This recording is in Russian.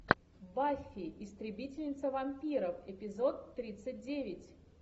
баффи истребительница вампиров эпизод тридцать девять